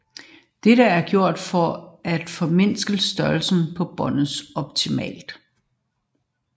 Dette er gjort for at formindske størrelsen på båndet optimalt